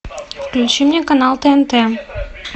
включи мне канал тнт